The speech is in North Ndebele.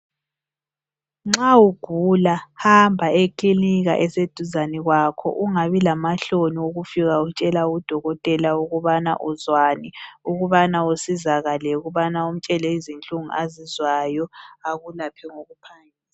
Nxa ugula hamba ekilinika eseduzane kwakho ungabi lamahloni okufika utshela udokotela ukubana uzwani ukubana usizakale ukubana umtshele izinhlungu azizwayo akulaphe ngokuphangisa.